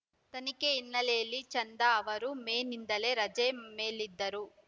ತನಿಖೆ ಹಿನ್ನೆಲೆಯಲ್ಲಿ ಚಂದಾ ಅವರು ಮೇ ನಿಂದಲೇ ರಜೆ ಮೇಲಿದ್ದರು